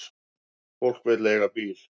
Fólk vill eiga bíl.